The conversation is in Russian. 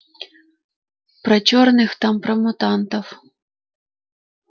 про черных там про мутантов